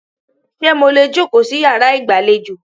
Ṣé mo lè jòkó sí yàrá ìgbàlejò?